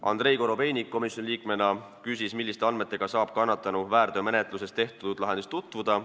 Andrei Korobeinik komisjoni liikmena küsis, milliste andmetega saab kannatanu väärteomenetluses tehtud lahendis tutvuda.